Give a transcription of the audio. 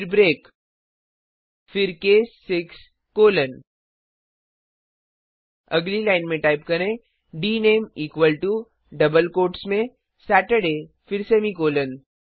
फिर ब्रेक फिर case 6 colon अगली लाइन में टाइप करें डीनामीक्वल टो डबल कोट्स में सतुर्दय फिर सेमीकॉलन